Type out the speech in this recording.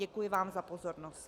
Děkuji vám za pozornost.